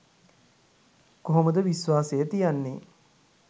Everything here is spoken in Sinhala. කොහොමද විශ්වාසය තියන්නේ